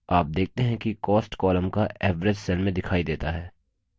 आप देखते हैं कि cost column का average cell में दिखाई देता है